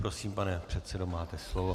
Prosím, pane předsedo, máte slovo.